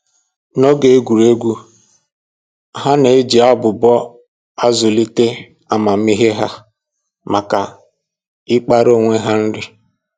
N'oge egwuregwu, ha na-eji abụbọ a zụlite amamihe ha maka ịkpara onwe ha nri